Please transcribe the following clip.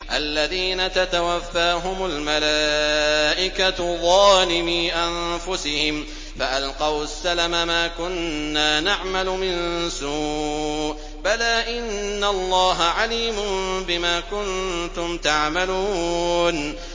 الَّذِينَ تَتَوَفَّاهُمُ الْمَلَائِكَةُ ظَالِمِي أَنفُسِهِمْ ۖ فَأَلْقَوُا السَّلَمَ مَا كُنَّا نَعْمَلُ مِن سُوءٍ ۚ بَلَىٰ إِنَّ اللَّهَ عَلِيمٌ بِمَا كُنتُمْ تَعْمَلُونَ